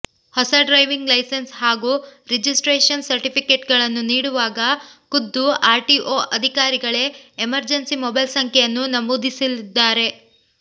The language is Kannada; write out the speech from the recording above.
ಹೊಸ ಡ್ರೈವಿಂಗ್ ಲೈಸೆನ್ಸ್ ಹಾಗೂ ರಿಜಿಸ್ಟ್ರೇಷನ್ ಸರ್ಟಿಫಿಕೇಟ್ಗಳನ್ನು ನೀಡುವಾಗ ಖುದ್ದು ಆರ್ಟಿಒ ಅಧಿಕಾರಿಗಳೇ ಎಮರ್ಜೆನ್ಸಿ ಮೊಬೈಲ್ ಸಂಖ್ಯೆಯನ್ನು ನಮೂದಿಸಲಿದ್ದಾರೆ